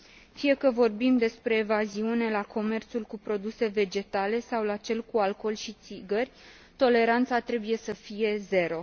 Fie că vorbim despre evaziune la comerțul cu produse vegetale sau la cel cu alcool și țigări, toleranța trebuie să fie zero.